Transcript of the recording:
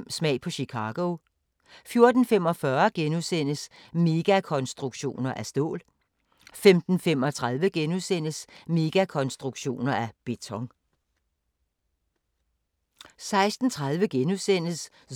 14:05: Smag på Chicago 14:45: Megakonstruktioner af stål * 15:35: Megakonstruktioner af beton *